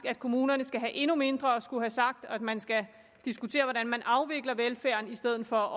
at kommunerne skal have endnu mindre at skulle have sagt og at man skal diskutere hvordan man afvikler velfærden i stedet for